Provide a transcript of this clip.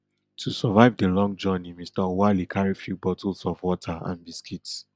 to survive di long journey mr oualy carrie few bottles of water and biscuits